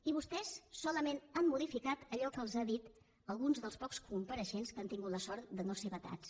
i vostès solament han modificat allò que els han dit alguns dels pocs compareixents que han tingut la sort de no ser vetats